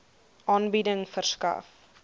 aanbieding verskaf